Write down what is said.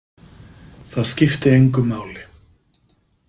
Það skipti engu máli.